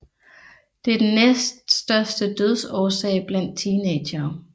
Det er den næststørste dødsårsag blandt teenagere